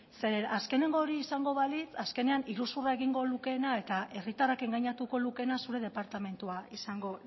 azkeneko hori izango balitz azkenean iruzurra egingo lukeena eta herritarrak engainatuko lukeena zure departamentua izango